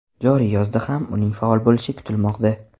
Joriy yozda ham uning faol bo‘lishi kutilmoqda.